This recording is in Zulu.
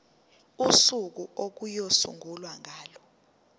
usuku okuyosungulwa ngalo